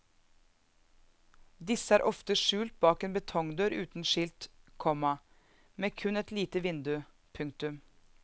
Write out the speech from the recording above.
Disse er ofte skjult bak en betongdør uten skilt, komma med kun et lite vindu. punktum